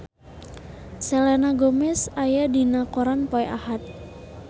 Selena Gomez aya dina koran poe Ahad